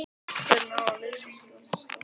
Hvernig á að lýsa skáldskap hans?